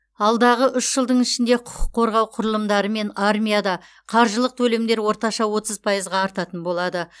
алдағы үш жылдың ішінде құқық қорғау құрылымдары мен армияда қаржылық төлемдер орташа отыз пайызға артатын болады